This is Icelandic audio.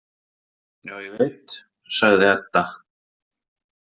Já, ég veit, sagði Edda.